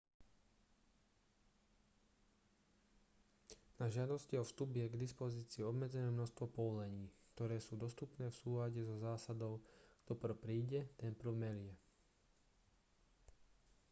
na žiadosti o vstup je k dispozícii obmedzené množstvo povolení ktoré sú dostupné v súlade so zásadou kto prv príde ten prv melie